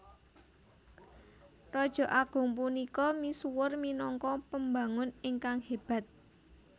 Raja agung punika misuwur minangka pembangun ingkang hébat